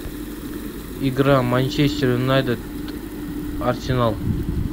игра манчестер юнайтед арсенал